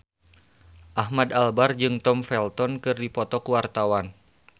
Ahmad Albar jeung Tom Felton keur dipoto ku wartawan